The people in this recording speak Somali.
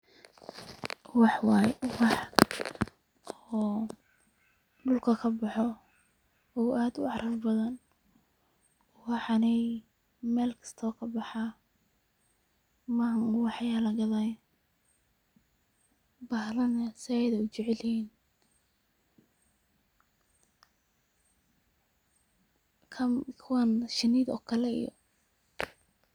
Wax waye ,wax oo dhulka kaboxo oo aad ucaraf badan, waxaney Mel kista wuu kabaxaa ma ahan uwaxya lagadaay, bahalaha na zaaid ayay ujecel yihin kuwan shinida oo kale iyo